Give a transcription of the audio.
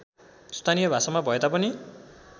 स्थानीय भाषामा भएतापनि